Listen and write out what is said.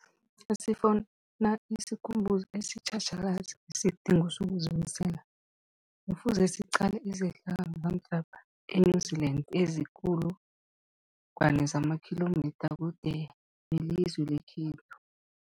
Nasifuna isikhumbuzo esitjhatjhalazi ngesidingo sokuzimisela, Kufuze siqale izehlakalo zamhlapha e-New Zealand eziinkulungwana zamakhilomitha kude nelizwe lekhethu.